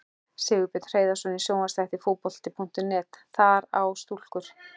Sigurbjörn Hreiðarsson í sjónvarpsþætti Fótbolta.net: Þak á stúkur!?